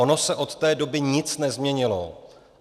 Ono se od té doby nic nezměnilo.